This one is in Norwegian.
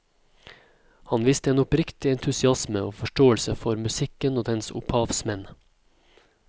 Han viste en oppriktig entusiasme og forståelse for musikken og dens opphavsmenn.